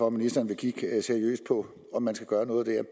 at ministeren vil kigge seriøst på om man skal gøre noget der